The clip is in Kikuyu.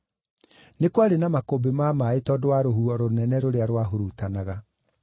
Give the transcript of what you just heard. Nĩ kwarĩ na makũmbĩ ma maaĩ tondũ wa rũhuho rũnene rũrĩa rwahurutanaga.